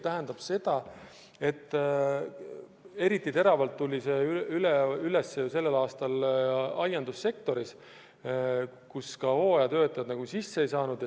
Eriti teravalt tuli see ilmsiks sellel aastal aiandussektoris, kuhu hooajatöötajaid väljast appi ei lubatud.